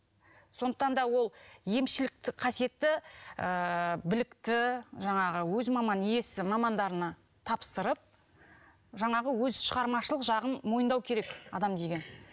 сондықтан да ол емшілікті қасиетті ыыы білікті жаңағы өз маман иесі мамандарына тапсырып жаңағы өз шығармашылық жағын мойындау керек адам деген